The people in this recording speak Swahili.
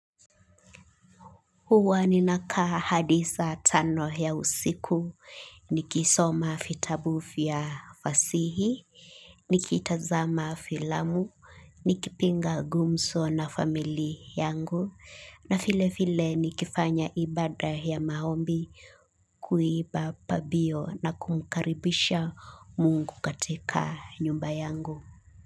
Huwa ninakaa hadi saa tano ya usiku, nikisoma vitabu vya fasihi, nikitazama filamu, nikipiga gumzo na familia yangu, na vile vile nikifanya ibada ya maombi kuimba pambio na kumkaribisha mungu katika nyumba yangu.